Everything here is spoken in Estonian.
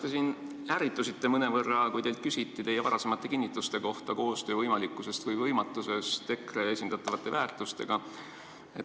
Te siin ärritusite mõnevõrra, kui teilt küsiti teie varasemate kinnituste kohta koostöö võimalikkusest või võimatusest, kui tegu on EKRE esindatavate väärtustega.